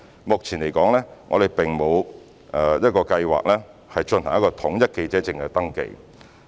目前，我們並無計劃進行統一的記者證登記。